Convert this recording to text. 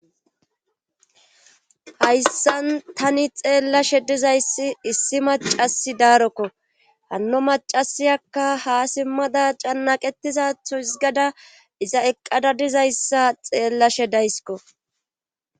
hayssan tani xeellashe dizayssi issi macasi daarokko hanno macasiyakka haa simmada cannaqetizatho izigada iza eqqada dizayssa xeellashe daysikko